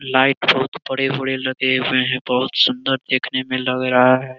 Light बहुत बड़े-बड़े लगे हुए हैं बहुत सुंदर देखने में लग रहा है।